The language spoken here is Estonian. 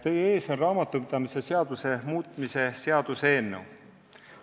Teie ees on raamatupidamise seaduse muutmise seaduse eelnõu.